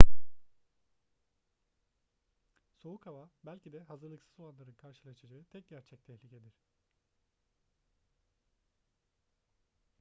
soğuk hava belki de hazırlıksız olanların karşılaşacağı tek gerçek tehlikedir